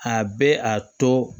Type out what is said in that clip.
A bɛ a to